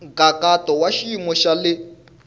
nkhaqato wa xiyimo xa le